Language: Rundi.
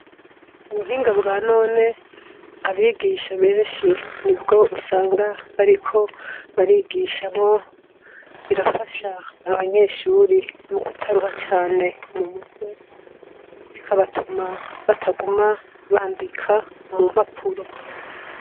Ubuhinga bwa none abigisha benshi nibwo usanga bariko barigishamwo birafasha abanyeshuri mukutaruha cane mumutwe bikabatuma bataguma bandika mumpapuro